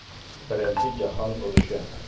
“Birinchi jahon urushi.